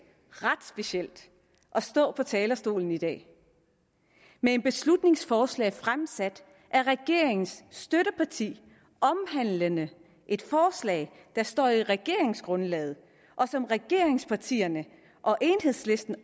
ret specielt at stå på talerstolen i dag med et beslutningsforslag fremsat af regeringens støtteparti omhandlende et forslag der står i regeringsgrundlaget og som regeringspartierne og enhedslisten